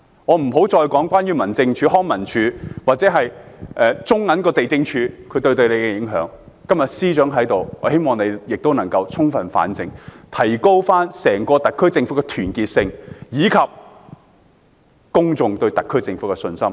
我且不再說民政事務總署、康樂及文化事務署或地政總署對你的影響，我希望司長充分反省，提高整個特區政府的團結性，以及公眾對特區政府的信心。